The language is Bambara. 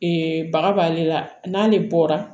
baga b'ale la n'ale bɔra